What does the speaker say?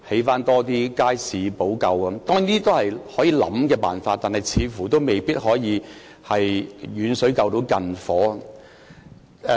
當然，這些都是可以考慮的方法，但似乎未必可以"遠水救近火"。